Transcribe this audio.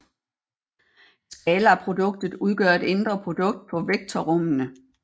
Skalarproduktet udgør et indre produkt på vektorrummene